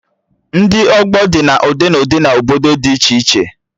Ndị ọgbọ dị na ụdị na ụdị na obodo dị iche iche